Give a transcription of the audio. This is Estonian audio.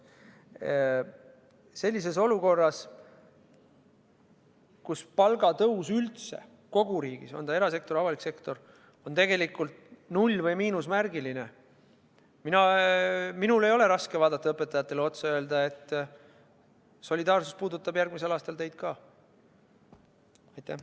Sellises olukorras, kus palgatõus kogu riigis – on ta erasektor või avalik sektor – on tegelikult null või miinusmärgiline, ei ole minul raske vaadata õpetajatele otsa ja öelda, et solidaarsus puudutab järgmisel aastal ka teid.